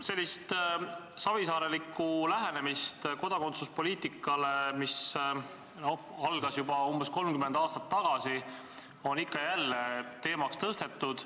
Sellist savisaarelikku lähenemist kodakondsuspoliitikale, mis algas juba umbes 30 aastat tagasi, on ikka ja jälle teemaks tõstetud.